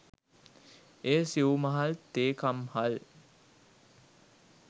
එය සිවු මහල් තේ කම්හල්